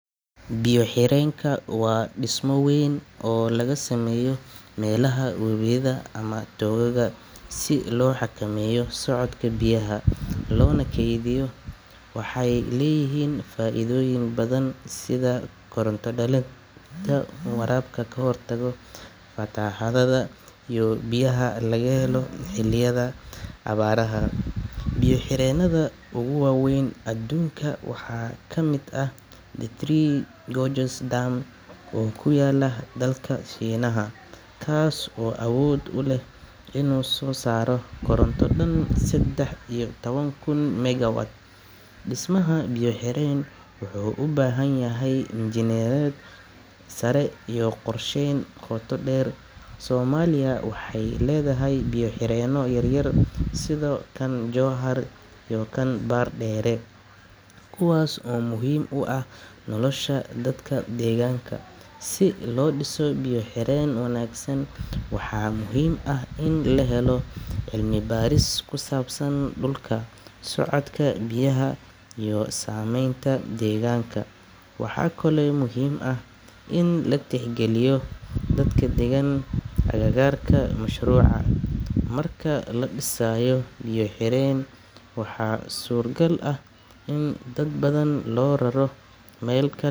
Biyo-xireenku waa dhismo weyn oo laga sameeyo meelaha webiyada ama togagga si loo xakameeyo socodka biyaha, loona kaydiyo. Waxay leeyihiin faa'iidooyin badan sida koronto dhalinta, waraabka, ka hortagga fatahaadaha, iyo in biyaha laga helo xilliyada abaaraha. Biyo-xireennada ugu waaweyn adduunka waxaa ka mid ah Three Gorges Dam oo ku yaalla dalka Shiinaha, kaas oo awood u leh inuu soo saaro koronto dhan saddex iyo toban kun megawatt. Dhismaha biyo-xireen wuxuu u baahan yahay injineeriyad sare iyo qorsheyn qoto dheer. Soomaaliya waxay leedahay biyo-xireenno yar yar sida kan Jowhar iyo kan Bardheere, kuwaas oo muhiim u ah nolosha dadka deegaanka. Si loo dhiso biyo-xireen wanaagsan, waxaa muhiim ah in la helo cilmibaaris ku saabsan dhulka, socodka biyaha, iyo saamaynta deegaanka. Waxaa kaloo muhiim ah in la tixgeliyo dadka deggan agagaarka mashruuca. Marka la dhisayo biyo-xireen, waxaa suuragal ah in dad badan loo raro meel kal.